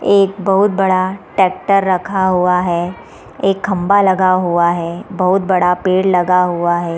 एक बहुत बड़ा ट्रैक्टर रखा हुआ है एक खंभा लगा हुआ है बहुत बड़ा पेड़ लगा हुआ है।